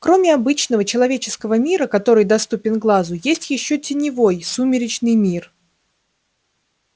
кроме обычного человеческого мира который доступен глазу есть ещё теневой сумеречный мир